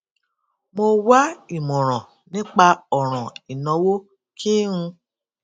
mo wá ìmòràn nípa òràn ìnáwó kí n